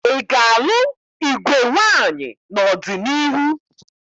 Ị ga-alụ igwe nwaamyị n'ọdịniihu?